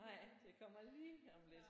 Nej det kommer lige om lidt